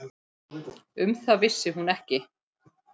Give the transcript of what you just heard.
Um það vissi hún ekki.